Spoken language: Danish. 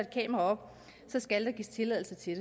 kamera op så skal der gives tilladelse til